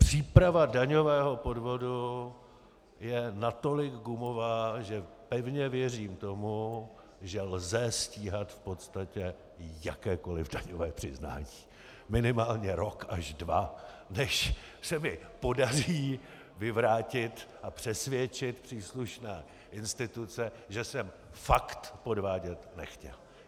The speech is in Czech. Příprava daňového podvodu je natolik gumová, že pevně věřím tomu, že lze stíhat v podstatě jakékoli takové přiznání, minimálně rok až dva, než se mi podaří vyvrátit a přesvědčit příslušné instituce, že jsem fakt podvádět nechtěl.